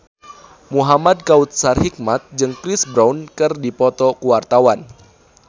Muhamad Kautsar Hikmat jeung Chris Brown keur dipoto ku wartawan